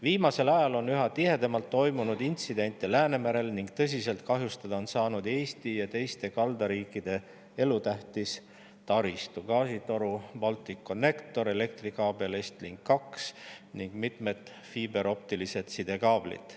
Viimasel ajal on üha tihedamalt toimunud intsidente Läänemerel ning tõsiselt on kahjustada saanud Eesti ja teiste kaldariikide elutähtis taristu: gaasitoru Balticconnector, elektrikaabel Estlink 2 ning mitmed fiiberoptilised sidekaablid.